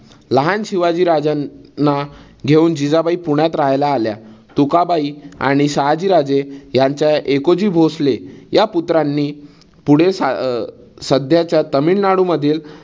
लहान शिवाजी राजांना घेऊन जिजाबाई पुण्यात रहायला आल्या. तुकाबाई आणि शहाजी राजे यांच्या एकोजी भोसले या पुत्रांनी पुढे अं सध्याच्या तामिळनाडू मधील